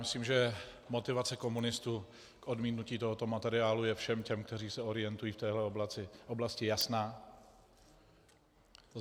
Myslím, že motivace komunistů k odmítnutí tohoto materiálu je všem těm, kteří se orientují v téhle oblasti, jasná.